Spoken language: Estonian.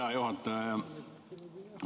Hea juhataja!